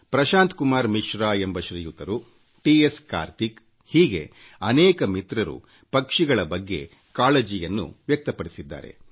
ಪ್ರಶಾಂತ Kumar Mishra T S Karthik ಹಾಗೂ ಅನೇಕ ಅಂಥ ಮಿತ್ರರು ಪಕ್ಷಿಗಳ ಬಗ್ಗೆ ಕಾಳಜಿಯನ್ನು ವ್ಯಕ್ತಪಡಿಸಿದ್ದಾರೆ